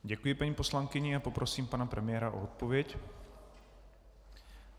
Děkuji paní poslankyni a poprosím pana premiéra o odpověď.